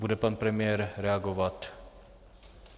Bude pan premiér reagovat?